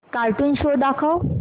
cartoon show दाखव